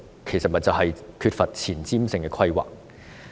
就是因為當局缺乏前瞻性的規劃。